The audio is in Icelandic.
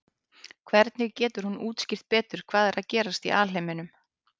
hvernig getur hún útskýrt betur hvað er að gerast í alheiminum